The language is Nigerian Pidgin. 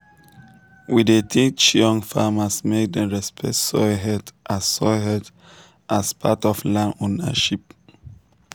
we dey teach young farmers make dem respect soil health as soil health as part of land ownership.